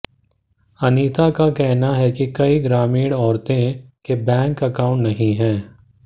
अनिता का कहना है कि कई ग्रामीण औरतांे के बैंक अकाउंट नहीं हैं